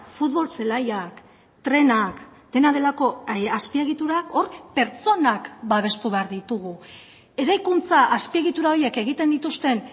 futbol zelaiak trenak dena delako azpiegiturak hor pertsonak babestu behar ditugu eraikuntza azpiegitura horiek egiten dituzten